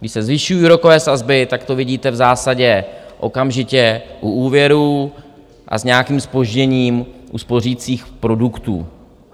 Když se zvyšují úrokové sazby, tak to vidíte v zásadě okamžitě u úvěrů, a s nějakým zpožděním u spořících produktů.